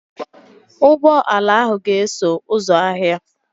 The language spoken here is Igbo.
Ụgbọ ala ahụ ga-eso ụzọ ahịa.